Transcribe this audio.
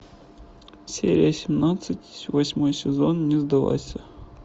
серия семнадцать восьмой сезон не сдавайся